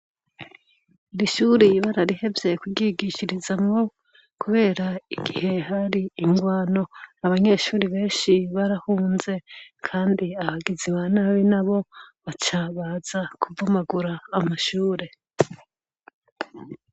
Irishuri ibararihevyeye kuyigishirizamwo, kubera igihe hari ingwano abanyeshuri benshi barahunze, kandi ahagiziba nabi na bo bacabaza kuvumagura amashure.